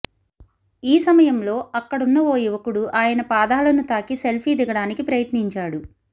ఈ సమయంలో అక్కడున్న ఓ యువకుడు ఆయన పాదాలను తాకి సెల్ఫీ దిగడానికి ప్రయత్నించాడు